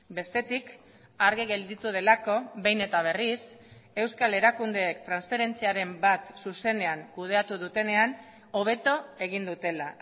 bestetik argi gelditu delako behin eta berriz euskal erakundeek transferentziaren bat zuzenean kudeatu dutenean hobeto egin dutela